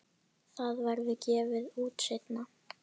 Það verður gefið út seinna.